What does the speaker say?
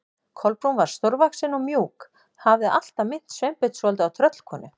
Kolbrún var stórvaxin og mjúk, hafði alltaf minnt Sveinbjörn svolítið á tröllkonu.